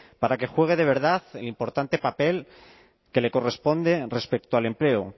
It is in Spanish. para que juegue de verdad importante papel que le corresponde respecto al empleo